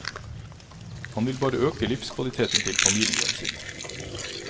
Han vil bare øke livskvaliteten til familien sin.